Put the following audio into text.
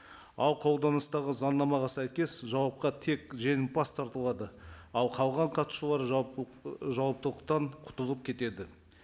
ал қолданыстағы заңнамаға сәйкес жауапқа тек жеңімпаз тартылады ал қалған қатысушылар жауап ы құтылып кетеді